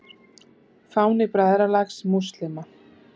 Fáni Bræðralags múslíma.